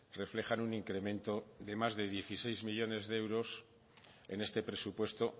reflejan un incremento de más de dieciséis millónes de euros en este presupuesto